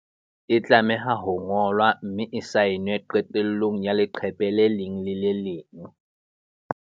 E tlameha ho ngolwa, mme e saenwe qetellong ya le qephe le leng le le leng.